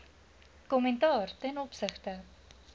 kommentaar ten opsigte